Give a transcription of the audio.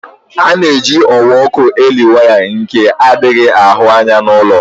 Ana-eji ọwa ọkụ eli waya nke adighi ahụ anya n'ulọ.